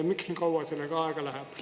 Miks nii kaua sellega aega läheb?